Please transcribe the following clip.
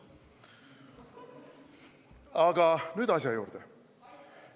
Aga nüüd asja juurde.